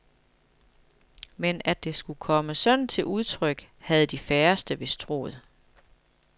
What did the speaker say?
Men at det skulle komme sådan til udtryk, havde de færreste vist troet.